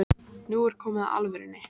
Nú er komið að alvörunni